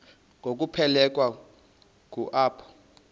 ngokuphelekwa ngu apho